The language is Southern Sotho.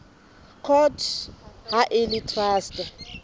court ha e le traste